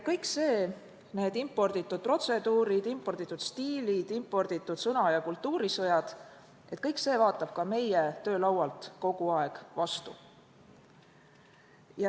Kõik see – need imporditud protseduurid, imporditud stiilid, imporditud sõna- ja kultuurisõjad – vaatab ka meie töölaualt kogu aeg vastu.